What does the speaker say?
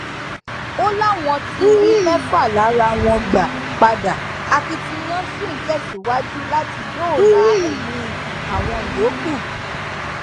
ó láwọn ti rí mẹfà lára wọn gbà padà akitiyan sí ń tẹsíwájú láti dóòlà ẹmí àwọn yòókù